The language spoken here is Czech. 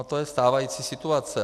A to je stávající situace.